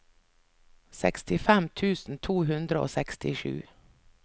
sekstifem tusen to hundre og sekstisju